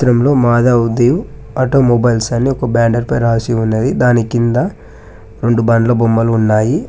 ఇందులో మహాదేవ్ ఆటోమొబైల్స్ అని ఒక బ్యానర్ పై రాసి ఉన్నది దాని కింద రెండు బండ్ల బొమ్మలు ఉన్నాయి